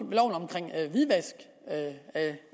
hvidvask